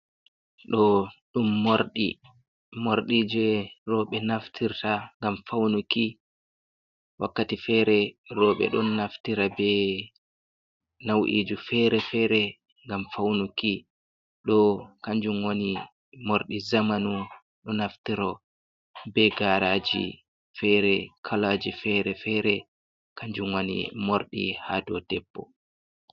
Ɗo ɗum morɗi, morɗi je roɓɓe naftirta ngam faunuki, wakkati fere roɓɓe ɗon naftira be nau’iji fere-fere ngam faunuki, ɗo kanjum woni morɗi zamanu ɗo naftira be garaji fere kalaji fere-fere kanjum woni morɗi ha dou debbo.